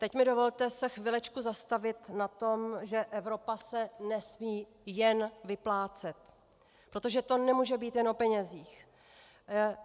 Teď mi dovolte se chvilečku zastavit na tom, že Evropa se nesmí jen vyplácet, protože to nemůže být jen o penězích.